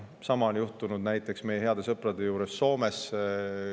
Sama on juhtunud näiteks meie heade sõprade juures Soomes.